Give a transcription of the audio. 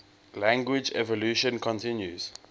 language evolution continues